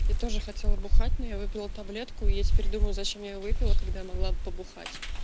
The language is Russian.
я тоже хотела бухать но я выпила таблетку и я теперь думаю зачем я её выпила когда могла бы побухать